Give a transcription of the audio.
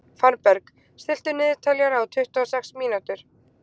Fannberg, stilltu niðurteljara á tuttugu og sex mínútur.